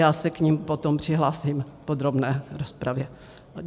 Já se k nim potom přihlásím v podrobné rozpravě.